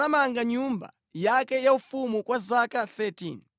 Solomoni anamanga nyumba yake yaufumu kwa zaka 13.